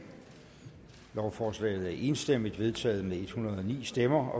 lovforslaget er enstemmigt vedtaget med en hundrede og ni stemmer